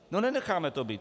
No nenecháme to být.